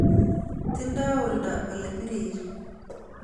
Tindoi olda ule biriri